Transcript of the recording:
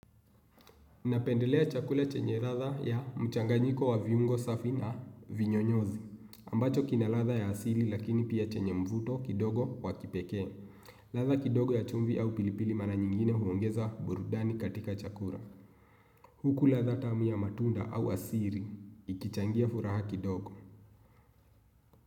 Napendelea chakula chenye ladha ya mchanganyiko wa viungo safi na vinyonyozi. Ambacho kina ladha ya asili lakini pia chenye mvuto kidogo wa kipekee. Ladha kidogo ya chumvi au pilipili mara nyingine huongeza burudani katika chakura. Huku ladha tamu ya matunda au asiri. Ikichangia furaha kidogo.